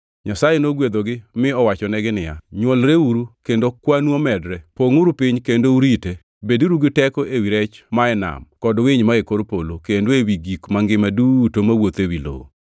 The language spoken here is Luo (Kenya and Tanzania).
Nyasaye nogwedhogi mi owachonegi niya, “Nywolreuru kendo kwanu omedre; pongʼuru piny kendo urite. Beduru gi teko ewi rech ma e nam kod winy mae kor polo kendo ewi gik mangima duto mawuotho ewi lowo.”